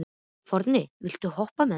Forni, viltu hoppa með mér?